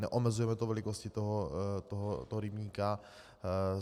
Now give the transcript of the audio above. Neomezujeme to velikostí toho rybníku.